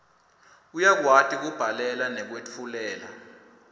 uyakwati kubhalela nekwetfulela